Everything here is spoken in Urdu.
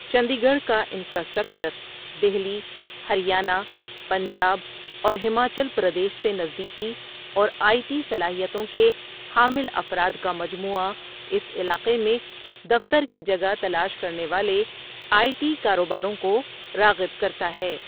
چندی گڑھ کا انفراسٹرکچر، دہلی، ہریانہ، پنجاب، اور ہماچل پردیش سے نزدیکی، اور آئی ٹی صلاحیتوں کے حامل افراد کا مجموعہ اس علاقے میں دفتر کی جگہ تلاش کرنے والے آئی ٹی کاروباروں کو راغب کرتا ہے۔